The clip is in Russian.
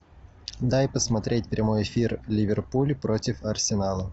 дай посмотреть прямой эфир ливерпуль против арсенала